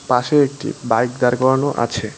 পাশে একটি বাইক দাঁড় করানো আছে।